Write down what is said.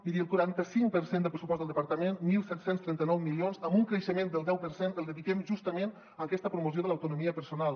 miri el quaranta cinc per cent del pressupost del departament disset trenta nou milions amb un creixement del deu per cent el dediquem justament a aquesta promoció de l’autonomia personal